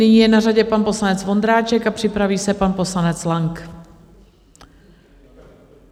Nyní je na řadě pan poslanec Vondráček a připraví se pan poslanec Lang.